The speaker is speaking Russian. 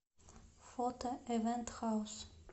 фото ивент хаус